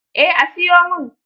Eh, a siyo min.